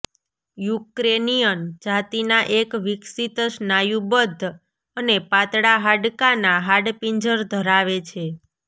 Ukrainian જાતિના એક વિકસીત સ્નાયુબદ્ધ અને પાતળા હાડકાના હાડપિંજર ધરાવે છે